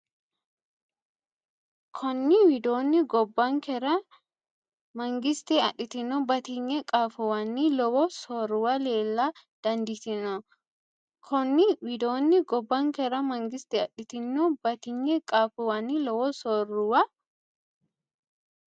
Konni widoonni gobbankera mangiste adhitino batinye qaafuwanni lowo soorruwa leella dandiitino Konni widoonni gobbankera mangiste adhitino batinye qaafuwanni lowo soorruwa.